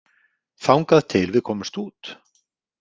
Þangað til við komumst út?